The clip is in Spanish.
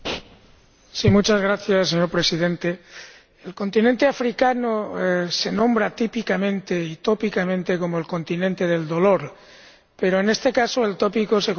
Señor Presidente, el continente africano se nombra típicamente y tópicamente como el continente del dolor pero, en este caso, el tópico se corresponde con la realidad.